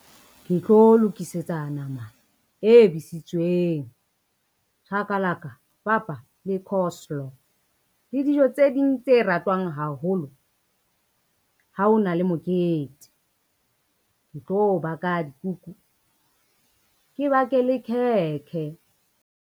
Ke tlo lokisetsa nama e besitsweng, chakalaka, papa le coslo. Le dijo tse ding tse ratwang haholo ha ona le mokete, ke tlo baka dikuku ke bake le khekhe.